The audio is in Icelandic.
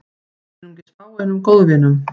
Einungis fáeinum góðvinum